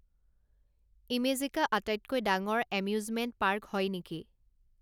ইমেজিকা আটাইতকৈ ডাঙৰ amusement park হয় নেকি